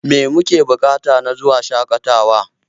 Me muke buƙata na zuwa shaƙatawatawar?